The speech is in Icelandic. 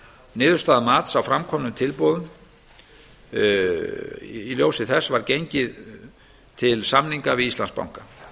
niðurstaða mats á framkomnum tilboðum var að gengið var til samninga við íslandsbanka